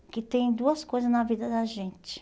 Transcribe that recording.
Porque tem duas coisa na vida da gente.